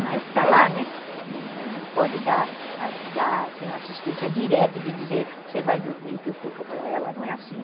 Mas está lá, não pode dar dar assistência direta de dizer, você vai dormir que eu fico com ela, não é assim.